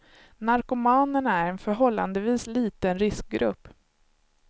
Narkomanerna är en förhållandevis liten riskgrupp.